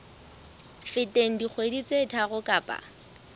feteng dikgwedi tse tharo kapa